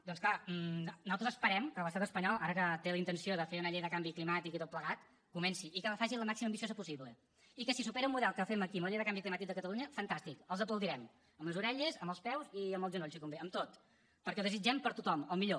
doncs és clar nosaltres esperem que l’estat espanyol ara que té la intenció de fer una llei de canvi climàtic i tot plegat comenci i que la faci el màxim d’ambiciosa possible i que si supera el model que fem aquí amb la llei de canvi climàtic de catalunya fantàstic els aplaudirem amb les orelles amb els peus i amb els genolls si convé amb tot perquè ho desitgem per a tothom el millor